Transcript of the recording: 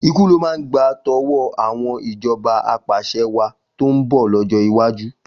Ikú ló máa gba tọwọ́ àwọn ìjọba apàṣẹwàá tó ń bọ̀ lọ́jọ́ iwájú.